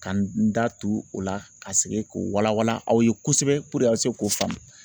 Ka n da tu o la ka segin k'o wala wala aw ye kosɛbɛ puruke a bɛ se k'o faamu.